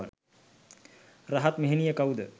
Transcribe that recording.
රහත් මෙහෙණිය කවුද?